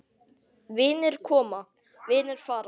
Vinir koma, vinir fara.